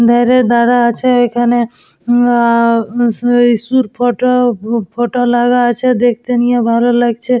ধেড়ে দাঁড়া আছে এখানে। উম ম আ যীশুর ফটো ফটো লাগা আছে দেখতে নিয়ে ভালো লাগছে।